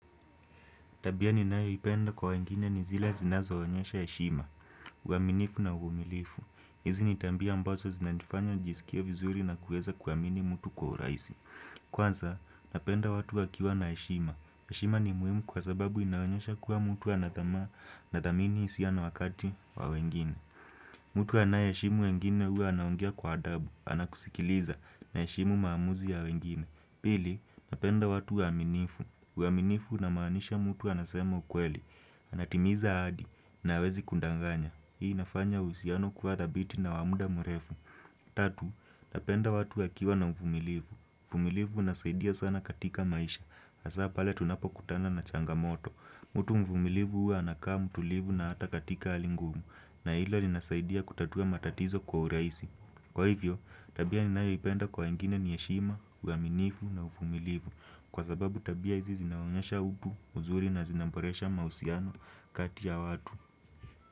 Tabia ninayoipenda kwa wengine ni zile zinazo onyesha heshima, uaminifu na uvumilifu. Hizi ni tabia ambazo zinanifanya nijisikie vizuri na kuweza kuaamini mtu kwa urahisi. Kwanza, napenda watu wakiwa na heshima. Heshima ni muhimu kwa sababu inaonyesha kua mtu hana tamaa nadhmini hisia na wakati wa wengine. Mtu anayeheshimu wengine hua anaongea kwa adabu, anakusikiliza anaheshimu maamuzi ya wengine. Pili, napenda watu waaminifu. Uaminifu namaanisha mtu anasema ukweli. Anatimiza ahadi na hawezi kundanganya. Hii inafanya uhusiano kua thabiti na wa mda mrefu. Tatu, napenda watu wakiwa na uvumilivu. Uvumilivu unasaidia sana katika maisha. Hasa pale tunapokutana na changamoto. Mutu mvumilivu hua anakaa mutulivu na hata katika hali ngumu na hilo linasaidia kutatua matatizo kwa urahisi. Kwa hivyo, tabia ninayoipenda kwa wengine ni heshima, uaminifu na uvumilivu kwa sababu tabia hizi zinaonyesha utu uzuri na zinamboresha mahusiano kati ya watu.